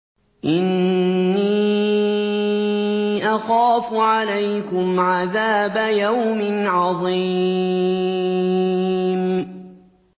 إِنِّي أَخَافُ عَلَيْكُمْ عَذَابَ يَوْمٍ عَظِيمٍ